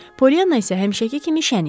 Pollyanna isə həmişəki kimi şən idi.